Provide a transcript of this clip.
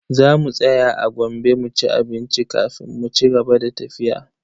Za mu tsaya a Gombe mu ci abinci kafin mu cigaba da tafiya.